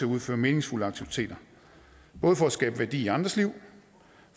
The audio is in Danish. udføre meningsfulde aktiviteter både for at skabe værdi i andres liv